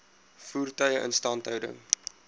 voertuie instandhouding